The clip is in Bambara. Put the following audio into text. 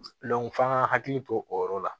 f'an ka hakili to o yɔrɔ la